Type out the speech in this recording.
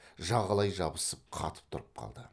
жағалай жабысып қатып тұрып қалды